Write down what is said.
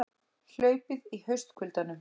Hlaupið í haustkuldanum